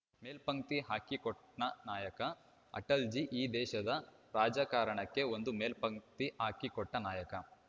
ಮೇಲ್ಪಂಕ್ತಿ ಹಾಕಿಕೊಟ್ಟನಾಯಕ ಅಟಲ್‌ಜೀ ಈ ದೇಶದ ರಾಜಕಾರಣಕ್ಕೆ ಒಂದು ಮೇಲ್ಪಂಕ್ತಿ ಹಾಕಿಕೊಟ್ಟನಾಯಕ